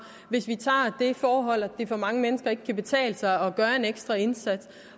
hvis vi tager det forhold at det for mange mennesker ikke kan betale sig at gøre en ekstra indsats